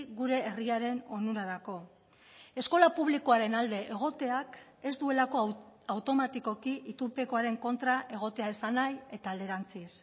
gure herriaren onurarako eskola publikoaren alde egoteak ez duelako automatikoki itunpekoaren kontra egotea esan nahi eta alderantziz